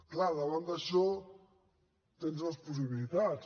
clar davant d’això tens dues possibilitats